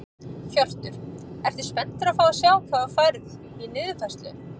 Hjörtur: Ertu spenntur að fá að sjá hvað þú færð í niðurfærslu?